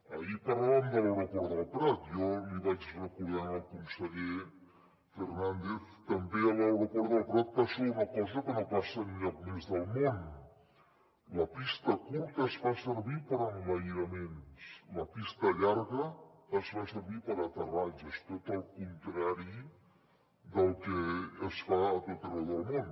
ahir parlàvem de l’aeroport del prat jo l’hi vaig recordar al conseller fernández també a l’aeroport del prat passa una cosa que no passa enlloc més del món la pista curta es fa servir per a enlairaments la pista llarga es fa servir per a aterratges tot el contrari del que es fa a tot arreu del món